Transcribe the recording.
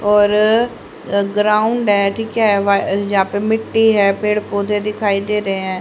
और अ ग्राउंड है ठीक है वा जा पे मिट्टी है पेड़ पौधे दिखाई दे रहे हैं।